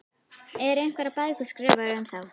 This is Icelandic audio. Eru einhverjar bækur skrifaðar um þá?